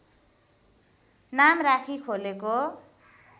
नाम राखी खोलेको